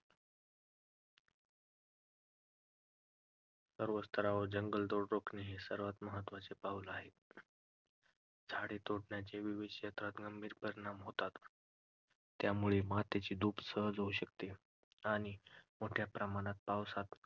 सर्व स्तरांवर जंगलतोड रोखणे हे सर्वात महत्त्वाचे पाऊल आहे. झाडे तोडण्याचे विविध क्षेत्रात गंभीर परिणाम होतात. यामुळे मातीची धूप सहज होऊ शकते आणि मोठ्या प्रमाणात पावसात